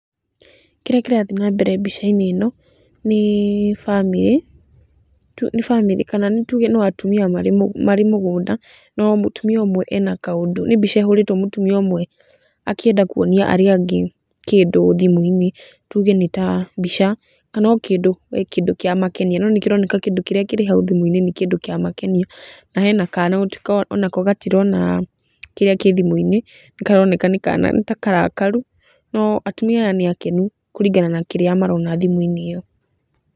Kĩrĩa kĩrathi nambere mbica-inĩ ĩno nĩ bamĩrĩ, nĩ bamĩrĩ, kana nĩ tuge no atumia marĩ mũgũnda, no mũtumia ũmwe ena kaũndũ, nĩ mbica ĩhũrĩtwo mũtumia ũmwe akĩenda kuonia arĩa angĩ kĩndũ thimu-inĩ tuge nĩ ta mbica kana o kĩndũ we kĩndũ kĩamakenia no nĩ kĩroneka kĩndũ kĩrĩa kĩrĩ hau thimũ-inĩ nĩ kĩamakenia. Na hena kana na onako gatirona kĩrĩa kĩ thimu-inĩ, nĩ karoneka nĩ kana nĩ ta karakaru no atumia nĩ akenu kũringana na kirĩa marona thimũ-inĩ ĩyo.